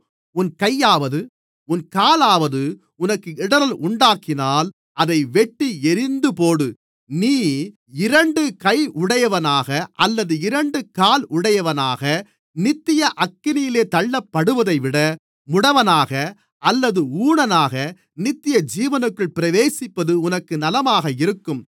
உன் கையாவது உன் காலாவது உனக்கு இடறல் உண்டாக்கினால் அதை வெட்டி எறிந்துபோடு நீ இரண்டு கையுடையவனாக அல்லது இரண்டு காலுடையவனாக நித்திய அக்கினியிலே தள்ளப்படுவதைவிட முடவனாக அல்லது ஊனனாக நித்தியஜீவனுக்குள் பிரவேசிப்பது உனக்கு நலமாக இருக்கும்